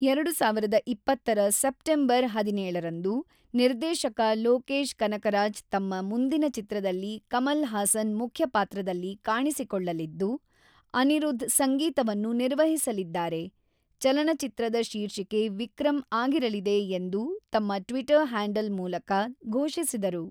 ೨೦೨೦ರ September ೧೭ರಂದು, ನಿರ್ದೇಶಕ ಲೋಕೇಶ್ ಕನಕರಾಜ್ ತಮ್ಮ ಮುಂದಿನ ಚಿತ್ರದಲ್ಲಿ ಕಮಲ್ ಹಾಸನ್ ಮುಖ್ಯ ಪಾತ್ರದಲ್ಲಿ ಕಾಣಿಸಿಕೊಳ್ಳಲಿದ್ದು, ಅನಿರುದ್ಧ್ ಸಂಗೀತವನ್ನು ನಿರ್ವಹಿಸಲಿದ್ದಾರೆ, ಚಲನಚಿತ್ರದ ಶೀರ್ಷಿಕೆ ʼವಿಕ್ರಮ್‌ʼ ಆಗಿರಲಿದೆ ಎಂದು ತಮ್ಮ ಟ್ವಿಟರ್ ಹ್ಯಾಂಡಲ್ ಮೂಲಕ ಘೋಷಿಸಿದರು.